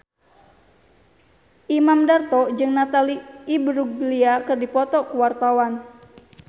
Imam Darto jeung Natalie Imbruglia keur dipoto ku wartawan